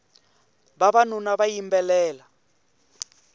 vavanuna va yimbelela